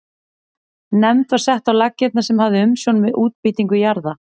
Nefnd var sett á laggirnar sem hafði umsjón með útbýtingu jarða.